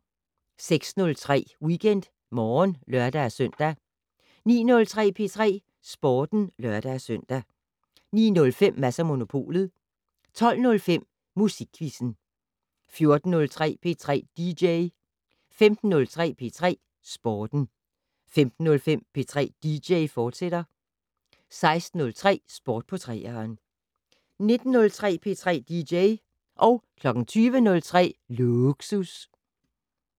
06:03: WeekendMorgen (lør-søn) 09:03: P3 Sporten (lør-søn) 09:05: Mads & Monopolet 12:05: Musikquizzen 14:03: P3 dj 15:03: P3 Sporten 15:05: P3 dj, fortsat 16:03: Sport på 3'eren 19:03: P3 dj 20:03: Lågsus